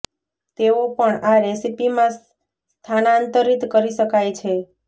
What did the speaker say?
તેઓ પણ આ રેસીપી માં સ્થાનાંતરિત કરી શકાય છે